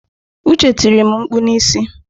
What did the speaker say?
Uche tiri m mkpụ n'isi.